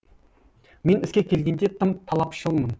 мен іске келгенде тым талапшылмын